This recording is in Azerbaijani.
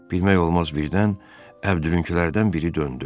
Bilmək olmaz birdən Əbdülünkilərdən biri döndü.